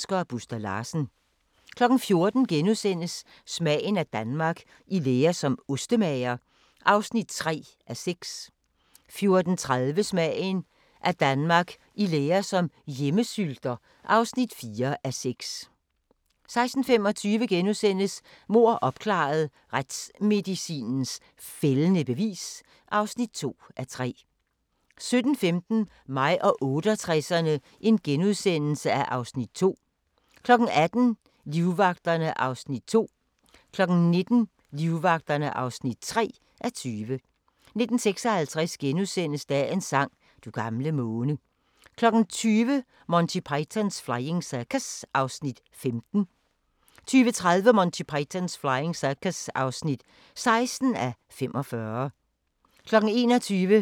14:00: Smagen af Danmark – I lære som ostemager (3:6)* 14:30: Smagen af Danmark – I lære som hjemmesylter (4:6) 16:25: Mord opklaret – Retsmedicinens fældende bevis (2:3)* 17:15: Mig og 68'erne (Afs. 2)* 18:00: Livvagterne (2:20) 19:00: Livvagterne (3:20) 19:56: Dagens sang: Du gamle måne * 20:00: Monty Python's Flying Circus (15:45) 20:30: Monty Python's Flying Circus (16:45) 21:00: The Master